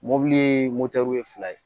Mɔbili ye moto ye fila ye